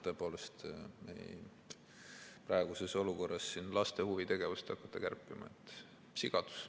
Tõepoolest, praeguses olukorras laste huvitegevust hakata kärpima, on sigadus.